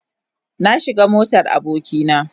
Na shiga motar aboki na.